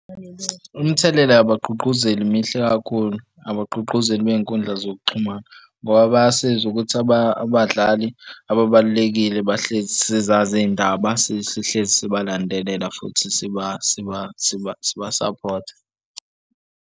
Imithelela yabagqugquzeli mihle kakhulu. Abagqugquzeli bey'nkundla zokuxhumana ngoba bayasiza ukuthi abadlali ababalulekile bahlezi sizazi iy'ndaba sihlezi sibalandele futhi sibasaphothe.